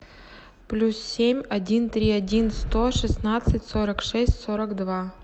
плюс семь один три один сто шестнадцать сорок шесть сорок два